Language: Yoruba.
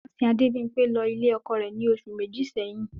Wọ́n sìn Adebimpe lọ ilé ọkọ rẹ̀ ní oṣù méjì sẹ́yìn.